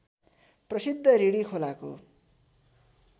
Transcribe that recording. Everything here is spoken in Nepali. प्रसिद्ध रिडी खोलाको